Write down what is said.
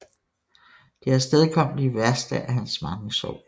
Det afstedkom de værste af hans mange sår